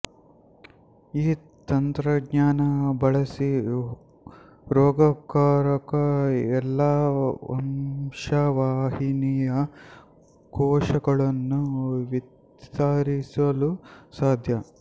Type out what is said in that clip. ಈ ತಂತ್ರಜ್ಞಾನ ಬಳಸಿ ರೋಗಕಾರಕ ಎಲ್ಲಾ ವಂಶವಾಹಿನಿಯ ಕೋಶಗಳನ್ನು ವಿತರಿಸಲು ಸಾಧ್ಯ